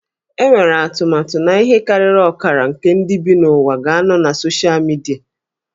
Enwere atụmatụ na ihe karịrị ọkara nke ndị bi n'ụwa ga-anọ na soshal midia